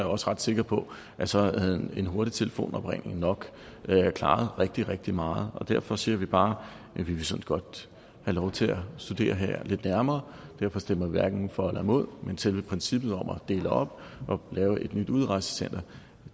også ret sikker på at så havde en hurtig telefonopringning nok klaret rigtig rigtig meget derfor siger vi bare at vi så godt have lov til at studere det her lidt nærmere derfor stemmer vi hverken for eller imod men selve princippet om at dele op og lave et nyt udrejsecenter